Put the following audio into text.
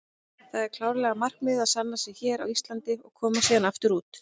Það er klárlega markmiðið að sanna sig hér á Íslandi og komast síðan aftur út.